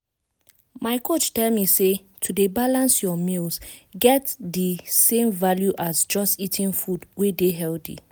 my coach tell me say to dey balance your meals get di same value as just eating food wey dey healthy.